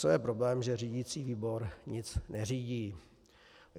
Co je problém, že řídicí výbor nic neřídí.